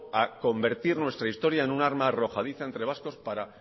a convertir nuestra historia en un arma arrojadiza entre vascos para